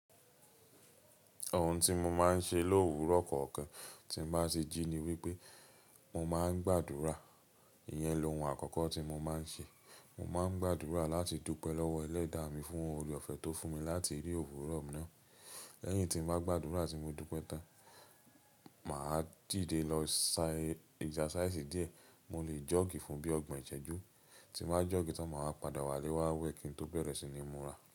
Ohun tí mo máa ń ṣe lòwúrọ̀ kọ̀ọ̀kan tí n bá tí jí ni wípé mo máa ń gbàdúrà. Iyẹn lohun àkọ́kọ́ tí mo máa ń ṣe. Mo máa ń gbàdúrà láti dúpẹ́ lọ́wọ́ Ẹlẹ́da mi fún ohun òre ọ̀fẹ̀ tó fún mi láti rí òwúrọ̀ ná. Lẹ́yìn tí n bá gbàdúrà tí mo dúpẹ́ tán, mà á dìde lọ ṣẹ́ exercise díẹ̀. Mo lè jọ́ọ̀gì fún bíí ọgbọ̀n ìṣẹ́jú. Tí n bá jọ́ọ̀gì tán, mà wá padà wálé wá wẹ́ẹ̀ kì n tó bẹ̀rẹ̀ sí ní múra.